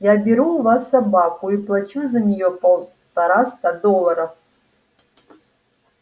я беру у вас собаку и плачу за неё полтораста долларов